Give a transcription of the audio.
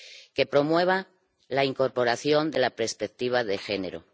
que promueva la incorporación de la perspectiva de género.